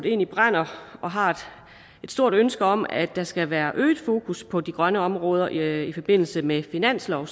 egentlig brænder for og har et stort ønske om at der skal være et øget fokus på de grønne områder i forbindelse med finansloven